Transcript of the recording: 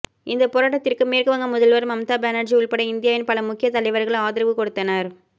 இந்த போராட்டத்திற்கு மேற்குவங்க முதல்வர் மம்தா பானர்ஜி உள்பட இந்தியாவின் பல முக்கிய தலைவர்கள் ஆதரவு கொடுத்தனர்